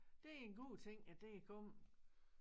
Det er en god ting at det er kommet